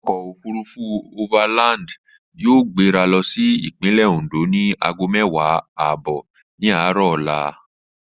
Ọkọ̀ òfurufú overland yóò gbéra lọ sí Ìpínlẹ̀ Oǹdó ni aago mẹ́wàá ààbọ̀ ní aárọ̀ ọla